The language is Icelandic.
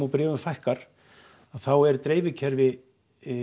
bréfum fækkar þá er dreifikerfi